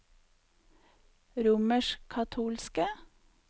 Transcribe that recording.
romerskkatolske